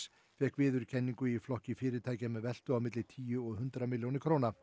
fékk viðurkenningu í flokki fyrirtækja með veltu á milli tíu og hundrað milljónir